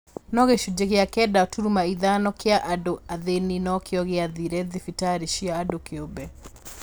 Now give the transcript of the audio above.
No gĩcunjĩ kĩa kenda turuma ithano kĩa andũ athĩni nokĩo gĩathire thibitarĩ cia andũ kĩũmbe